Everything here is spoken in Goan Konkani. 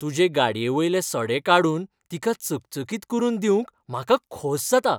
तुजे गाडयेवयले सडे काडून तिका चकचकीत करून दिवंक म्हाका खोस जाता.